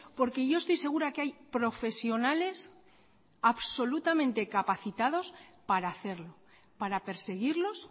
porque yo estoy segura que hay profesionales absolutamente capacitados para hacerlo para perseguirlos